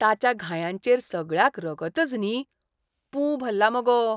ताच्या घायांचेर सगळ्याक रगतच न्ही, पूं भल्ला मगो.